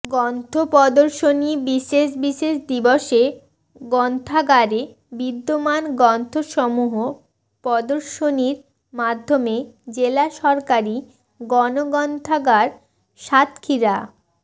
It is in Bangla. গ্রন্থ প্রদর্শনী বিশেষ বিশেষ দিবসে গ্রন্থাগারে বিদ্যমান গ্রন্থসমূহ প্রদর্শনীর মাধ্যমে জেলা সরকারি গণগ্রন্থাগার সাতক্ষীরা